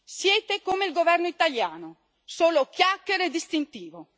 Siete come il governo italiano solo chiacchere e distintivo!